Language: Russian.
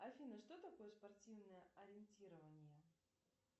афина что такое спортивное ориентирование